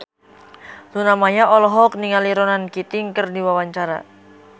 Luna Maya olohok ningali Ronan Keating keur diwawancara